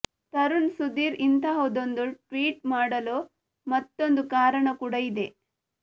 ತರುಣ್ ಸುಧೀರ್ ಇಂತಹದೊಂದು ಟ್ವೀಟ್ ಮಾಡಲು ಮತ್ತೊಂದು ಕಾರಣ ಕೂಡ ಇದೆ